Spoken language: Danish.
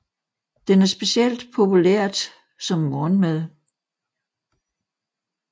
Den er specielt populært som morgenmad